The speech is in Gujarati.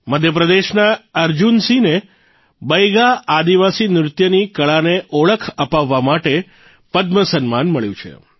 મધ્યપ્રદેશના અર્જુનસિંહને બૈગા આદિવાસી નૃત્યની કળાને ઓળખ અપાવવા માટે પદ્મ સન્માન મળ્યું છે